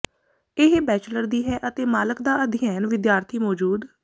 ਇਹ ਬੈਚਲਰ ਦੀ ਹੈ ਅਤੇ ਮਾਲਕ ਦਾ ਅਧਿਐਨ ਵਿਦਿਆਰਥੀ ਮੌਜੂਦ